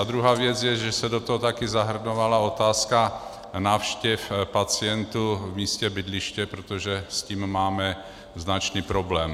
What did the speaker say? A druhá věc je, že se do toho taky zahrnovala otázka návštěv pacientů v místě bydliště, protože s tím máme značný problém.